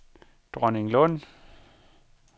Dronninglund